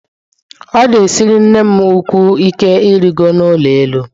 Ọ na-esiri nnem ukwuu ike irigo n'ụlọ elu.